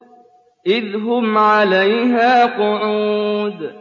إِذْ هُمْ عَلَيْهَا قُعُودٌ